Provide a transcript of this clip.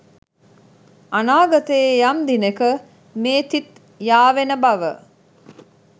අනාගතයේ යම් දිනෙක මේ තිත් යාවෙන බව